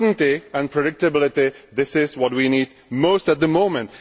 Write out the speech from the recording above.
Certainty and predictability this is what we need most at the moment.